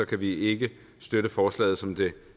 kan vi ikke støtte forslaget som det